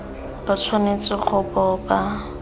ba tshwanetse go bo ba